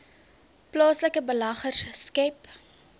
plaaslike beleggers skep